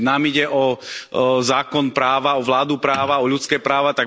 Veď nám ide o zákon práva, o vládu práva, o ľudské práva.